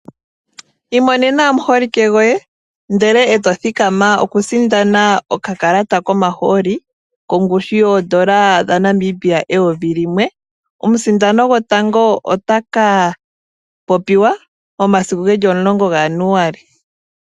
Imonena omuholike goye ndele eto thikama okusindana oka kalata komahooli, kongushu yoondola dha Namibia eyovi limwe. Omusindani gotango otaka popiwa mo masiku geli omulongo ga January.